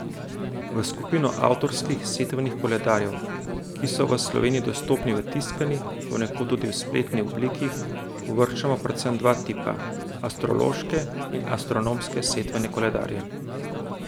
V skupino avtorskih setvenih koledarjev, ki so v Sloveniji dostopni v tiskani, ponekod tudi v spletni obliki, uvrščamo predvsem dva tipa, astrološke in astronomske setvene koledarje.